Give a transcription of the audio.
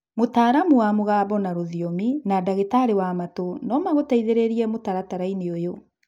Mũtaramu wa mũgambo na rũthiomu, na ndagĩtarĩ wa matũ nomagũteithĩrĩrie mũtaratara-inĩ ũyũ